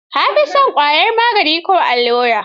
Ka fi son ƙwayar magaani ko allura?